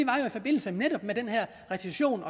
forbindelse med den her recession